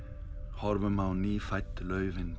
horfum á nýfædd laufin